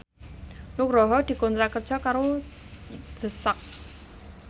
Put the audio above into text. Nugroho dikontrak kerja karo The Sak